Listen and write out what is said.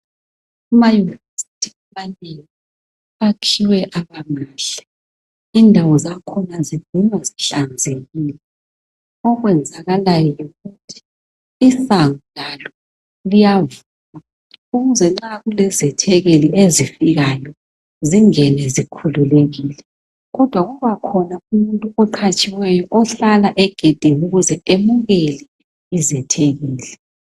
Amayunivesithi amanengi akhiwe abamahle , indawo zakhona zihlala zihlanzekile. Okwenzakalayo yikuthi isango labo liyavulwa ukuze nxa kulezethekeli ezifikayo zingene zikhululekile kodwa kubakhona umuntu oqhatshwayo ohlala egedini ukuze emukele izethekeli.